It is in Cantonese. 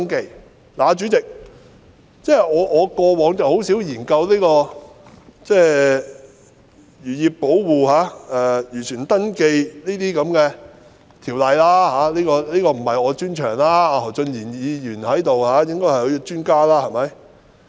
代理主席，我過往很少研究有關漁業保護或漁船登記的條例，這不是我的專長，何俊賢議員在席，他才是專家。